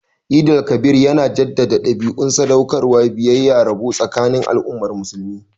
Eid el-Kabir yana jaddada dabi'un sadaukarwa, biyayya, da rabo tsakanin al'ummar musulmi